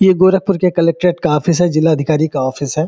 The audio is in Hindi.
ये गोरखपुर के कलेक्टोरेट का ऑफिस है जिला अधिकारी का ऑफिस है।